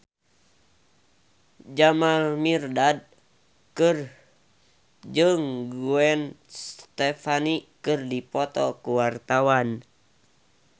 Jamal Mirdad jeung Gwen Stefani keur dipoto ku wartawan